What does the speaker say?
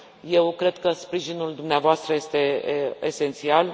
Eu cred că sprijinul dumneavoastră este esențial.